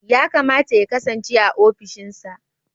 Ya kamata ya kasance a ofishinsa.